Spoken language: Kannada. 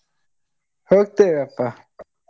ಹೋಗ್ತೇವಪ್ಪ.